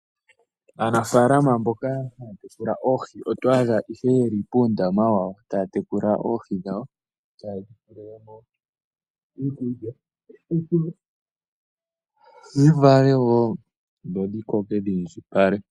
Aanafalama mboka haya tekula oohi otwadha ihe yeli pundama wawo taya tekula oohi dhawo taya dhipelemo iikulya opo dhivale wo dho dhikoke dhi indjipale.